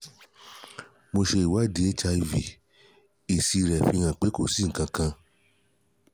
mo ṣe ìwádìí hiv èsì rẹ̀ náà fi hàn pé kò si nkankan